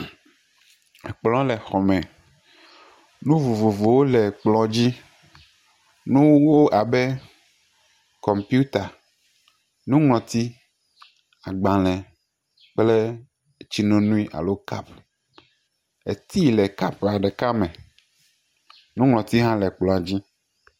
Akplɔ̃ le xɔme. Nu vovovowo le kplɔ̃ dzi. Nuwo abe kɔmpita, nuŋlɔti, agbalẽ kple tsi nono alo cup. Tea le cup ɖeka me. Nuŋlɔti hã le kplɔ̃a dzi.